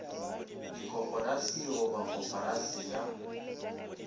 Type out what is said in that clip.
dikoporasi go ba koporasi ya